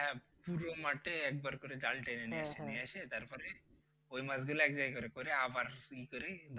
হ্যাঁ পুরো মাঠে একবার করে জাল টেনে নিয়ে, নিয়ে আসে নিয়ে এসে তারপরে ওই মাছগুলা এক জায়গায় করে, করে আবার নতুন করে